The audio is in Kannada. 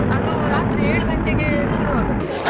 ಅದು, ರಾತ್ರಿ ಏಳು ಗಂಟೆಗೆ ಶುರು ಆಗುತ್ತೆ.